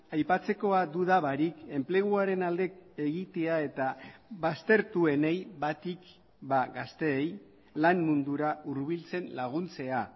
aipatzekoa duda barik enpleguaren alde egitea eta baztertuenei batik gazteei lan mundura hurbiltzen laguntzea